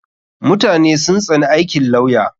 Mutane sun tsani aikin lawya.